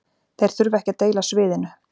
Þeir þurfa ekki að deila sviðinu